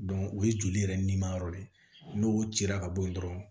o ye joli yɛrɛ nima yɔrɔ de ye n'o cira ka bɔ yen dɔrɔn